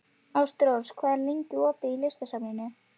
Ástrós, hvað er lengi opið í Listasafninu?